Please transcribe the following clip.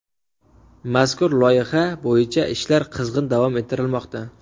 Mazkur loyiha bo‘yicha ishlar qizg‘in davom ettirilmoqda.